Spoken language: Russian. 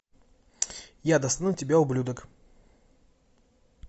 я достану тебя ублюдок